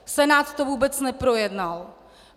Senát to vůbec neprojednal.